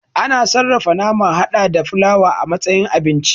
A na sarrafa nama hada da fulawa a matsayin abinci